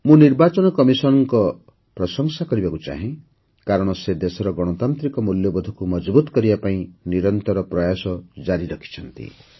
ମୁଁ ନିର୍ବାଚନ କମିଶନଙ୍କ ପ୍ରଶଂସା କରିବାକୁ ଚାହେଁ କାରଣ ସେ ଦେଶର ଗଣତାନ୍ତ୍ରିକ ମୂଲ୍ୟବୋଧକୁ ମଜଭୁତ୍ କରିବା ପାଇଁ ନିରନ୍ତର ପ୍ରୟାସ ଜାରି ରଖିଛନ୍ତି